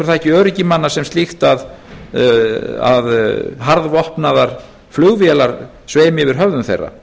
það ekki öryggi manna sem slíkt að harðvopnaðar flugvélar sveimi yfir höfðum þeirra